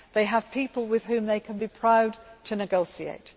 They have people with whom they can be proud to negotiate.